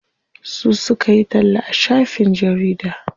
Su suka yi talla a shafin jarida.